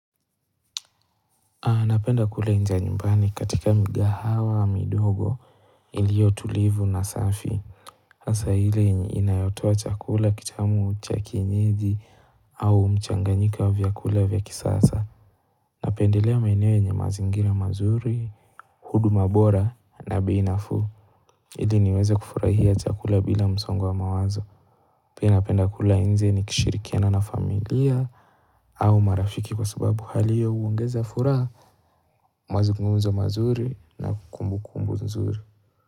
Napenda kula nje nyumbani katika migahawa midogo iliyo tulivu na safi hasa ile inayotoa chakula kitamu cha kienyeji au mchanganyiko wa vyakula vya kisasa napendelea maeneo yenye mazingira mazuri huduma bora na bei nafuu ili niweze kufurahia chakula bila msongo wa mawazo pia napenda kula nje nikishirikiana na familia au marafiki kwa sababu hali hiyo huongeza furaha mazungumzo mazuri na kumbukumbu nzuri.